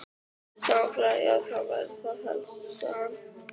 Sagnfræði já það væri þá helst Sagan.